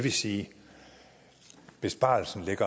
vil sige at besparelsen